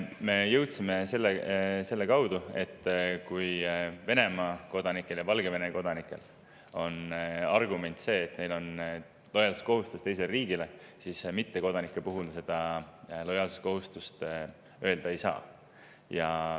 Me jõudsime sinna selle kaudu, et kui Venemaa ja Valgevene kodanike puhul on argument see, et neil on lojaalsuskohustus teise riigi ees, siis ei saa öelda, et mittekodanikel see lojaalsuskohustus on.